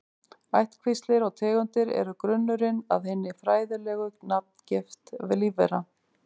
Ættkvíslir og tegundir eru grunnurinn að hinni fræðilegu nafngift lífvera.